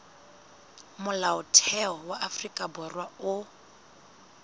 molaotheo wa afrika borwa o